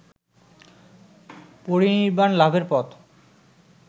পরিনির্বাণ লাভের পথ